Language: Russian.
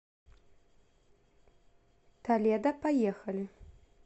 толедо поехали